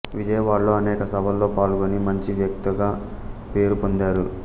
విజయవాడలో అనేక సభలలో పాల్గొని మంచి వక్తగా పేరు పొందారు